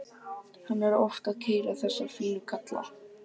Hann er oft að keyra þessa fínu kalla.